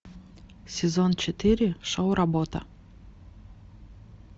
сезон четыре шоу работа